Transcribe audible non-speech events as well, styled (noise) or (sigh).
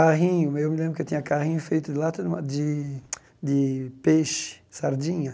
Carrinho eu me lembro que eu tinha carrinho feito de lata de ma de (sucks teeth) de peixe, sardinha.